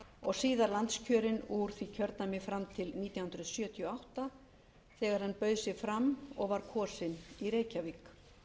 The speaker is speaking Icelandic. og síðar landskjörinn úr því kjördæmi fram til nítján hundruð sjötíu og átta þegar hann bauð sig fram og var kosinn í reykjavík